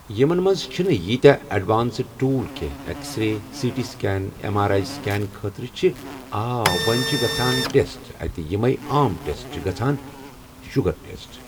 یِمَن منٛز چھِنہٕ ییٖتیاہ اٮ۪ڈوانسٕڈ ٹوٗل کینٛہہ X ray C T scan M R I scan خٲطرٕ چھِ آ وۄنۍ چھِ گژھان ٹٮ۪سٹ اَتہِ یِمٕے عام ٹٮ۪سٹ چھِ گژھان شُگَر ٹٮ۪سٹ